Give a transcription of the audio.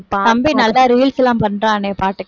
தம்பி நல்லா reels எல்லாம் பண்றானே பாட்டுக்கு